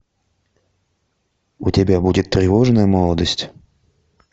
у тебя будет тревожная молодость